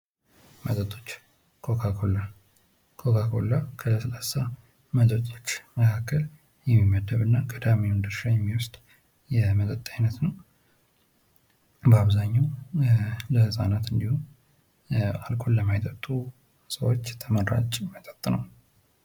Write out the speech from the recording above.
መጠጦች ኮካኮላ:-ኮካኮላ ከለስላሳ መጠጦች መካከል የሚመደብ እና ቀዳሚዉን ድርሻ የሚወስድ የመጠጥ አይነት ነዉ። በአብዛኛዉ ለህፃናት እና አልኮል ለማይጠጡ ሰዎች ተመራጭ መጠጥ ነዉ።